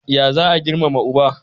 Ya za a Girmama uba?